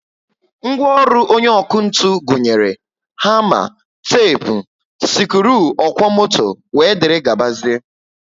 Ngwaọrụ onye ọkụ ntụ gụnyere hama, tepu, sikruuokwomoto wdgz